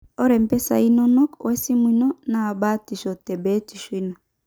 Ore mpisai inonok wesimu ino na batisho te biotisho ino.